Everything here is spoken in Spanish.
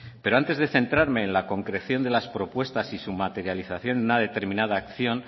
pero antes de centrarme en la concreción de las propuestas y su materialización en una determinada acción